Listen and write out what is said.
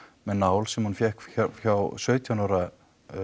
með nál sem hún fékk hjá sautján ára